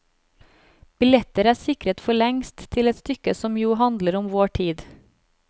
Billetter er sikret for lengst til et stykke som jo handler om vår tid.